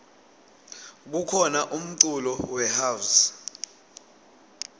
kukhona umculo we house